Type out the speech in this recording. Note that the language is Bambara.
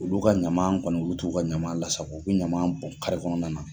Olu ka ɲama kɔni olu t'u ka ɲama lasako, u b'u ɲama bɔn kare kɔnɔna na!